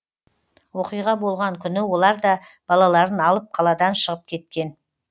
оқиға болған күні олар да балаларын алып қаладан шығып кеткен